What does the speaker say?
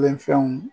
Wɛlɛ fɛnw